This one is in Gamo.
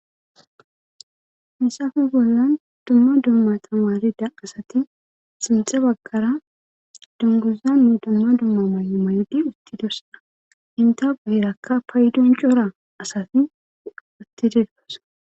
Misafe bollan dumma dumma tamalida asati sinxe baggara dungozanne dumma dumma man'u maydi utti dorsaa inta puherakka paydun cora asati utti dirkos.